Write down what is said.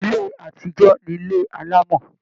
Ilé atijọ ni ile alamọ̀.